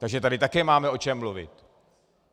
Takže tady také máme o čem mluvit.